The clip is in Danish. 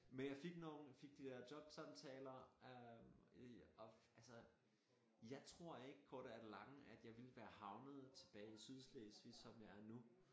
Men jeg fik nogen fik de der jobsamtaler øh og altså jeg tror ikke korte af det lange at jeg ville være havnet tilbage i Sydslesvig som jeg er nu